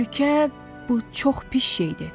Təhlükə, bu çox pis şeydir.